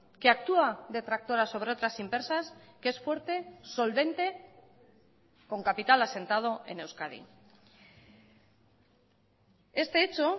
que actúa de tractora sobre otras empresas que es fuerte solvente con capital asentado en euskadi este hecho